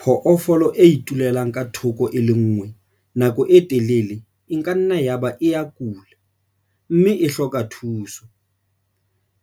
Phoofolo e itulelang ka thoko e le nngwe nako e telele e ka nna yaba e a kula, mme e hloka thuso.